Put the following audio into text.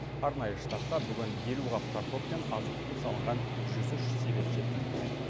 арнайы штабқа бүгін елу қап картоп пен азық түлік салынған жүз үш себет жеткізілген